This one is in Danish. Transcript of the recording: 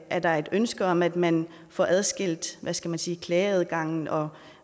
er der et ønske om at man får adskilt hvad skal man sige klageadgangen og